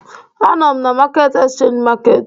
Anọ m na Market Exchange Market